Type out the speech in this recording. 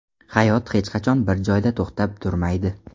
Hayot hech qachon bir joyda to‘xtab turmaydi.